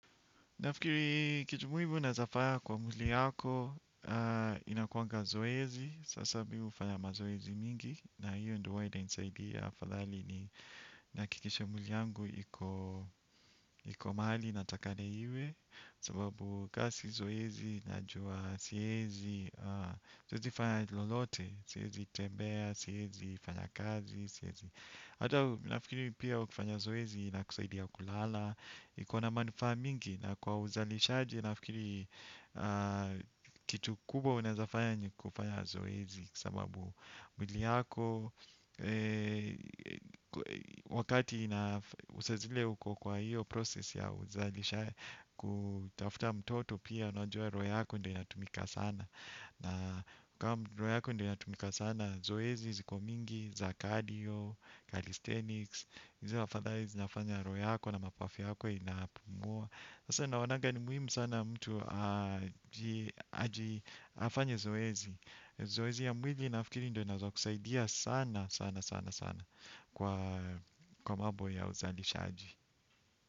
Nafikiri kitu muhimu naezafaya kwa mwili yako, inakuwanga zoezi, sasa mimi hufanya mazoezi mingi, na hiyo ndio huwa inanisaidia, afadhali ni nihakikishe mwili yangu iko mahali inatakikna iwe, sababu ka si zoezi, najua siezi, siezifanya lolote, siezi tembea, siezi fanya kazi, siezi. Hata nafikiri pia we ukifanya zoezi inakusaidia kulala. Iko na manufaa mingi na kwa uzalishaji nafikiri kitu kubwa unaezafanya ni kufanya zoezi sababu mwili yako wakati na saa zile uko kwa hiyo process ya uzalishaji. Kutafuta mtoto pia unajua roho yako ndo inatumika sana. Na kama roho yako ndio inatumika sana, zoezi ziko mingi, za cardio Kalisthenics, izo afadhali zinafanya roho yako na mapafu yako inapumua. Sasa naonaga ni muhimu sana mtu aji afanye zoezi. Zoezi ya mwili nafikiri ndio inaezakusaidia sana sana sana sana. Kwa mambo ya uzalishaji.